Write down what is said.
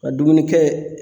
A dumunikɛ